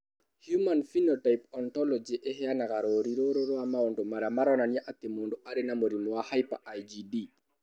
Human Phenotype Ontology ĩheanaga rũũri rũrũ rwa maũndũ marĩa maronania atĩ mũndũ arĩ na mũrimũ wa Hyper IgD.